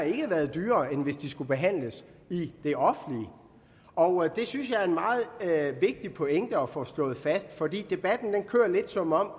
ikke har været dyrere end hvis de skulle behandlet i det offentlige og det synes jeg er en meget vigtig pointe at få slået fast for debatten kører lidt som om